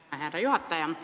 Aitäh, härra juhataja!